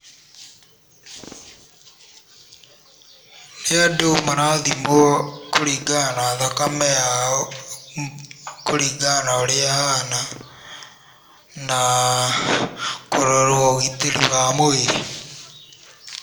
Nĩ andũ marathimwo kũringana na thakame yao, kũringana na ũrĩa ahana na kũrora ũgitĩrĩ wa mũĩrĩ.